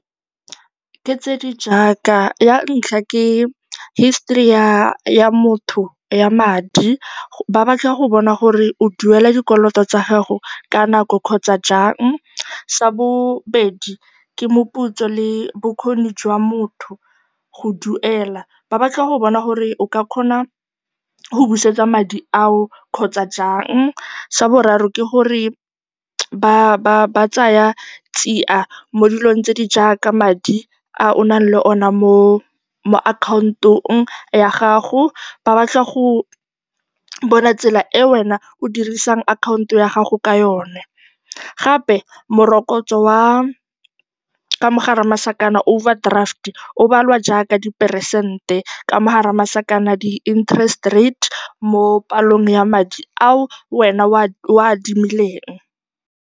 Ke tse di jaaka, ya ntlha ke histori ya motho ya madi, ba batla go bona gore o duela dikoloto tsa gago ka nako kgotsa jang. Sa bobedi ke moputso le bokgoni jwa motho go duela, ba batla go bona gore o ka kgona go busetsa madi ao kgotsa jang. Sa boraro ke gore ba tsaya tsiya mo dilong tse di jaaka madi a o nang le one mo akhaontong ya gago, ba batla go bona tsela e wena o dirisang akhanto ya gago ka yone. Gape, morokotso wa, ka mo gare ga masakana, overdraft, o balwa jaaka diperesente ka mo gare ga masakana, di-interest rate mo palong ya madi ao wena o a adimileng.